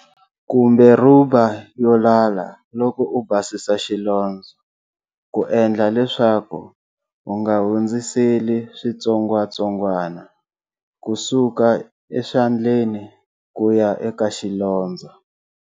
Kumbe rhuba yo lala loko u basisa xilondzo ku endla leswaku u nga hundziseli switsongwatsongwa ku suka eswandleri ku ya eka xilondzo.